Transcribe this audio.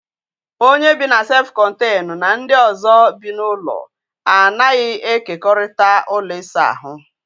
Onye bị na sef kọnteñu na ndị ọzọ bi n'ụlọ a naghị e kekorịta ụlọ ịsa ahụ